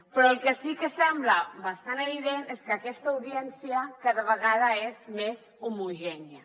però el que sí que sembla bastant evident és que aquesta audiència cada vegada és més homogènia